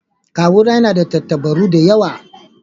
Kawu na na da tantabaru da yawa.